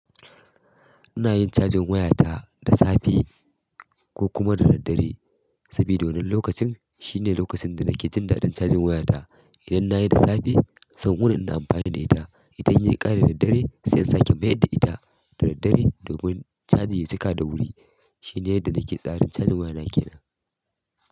Ina yin cajin wayata da safe ko kuma da daddare, sabida wannan lokacin shine lokacin da nake jin daɗin cajin wayata. Idan na yi da safe, zan wuni ina amfani da ita. Idan ya yi ƙare da daddare, sai in sake mayar da ita da daddare domin caji ya cika da wuri. Shine yadda nake tsarin cajin wayana kenan.